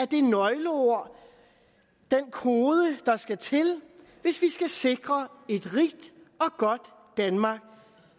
det nøgleord den kode der skal til hvis vi skal sikre et rigt og godt danmark